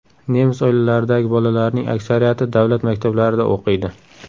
Nemis oilalaridagi bolalarning aksariyati davlat maktablarida o‘qiydi.